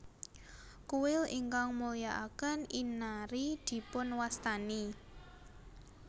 Kuil ingkang mulyakaken Inari dipunwastani